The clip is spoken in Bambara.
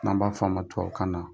N'an b'a fɔ ma tubabukan na